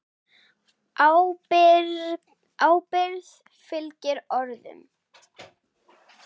Ábyrgð fylgir orðum.